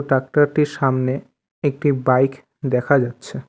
Tractor -টির সামনে একটি বাইক দেখা যাচ্ছে।